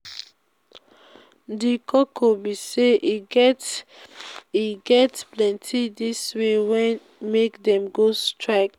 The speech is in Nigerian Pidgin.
di koko be say e get e get plenty tins wey wan make dem go strike.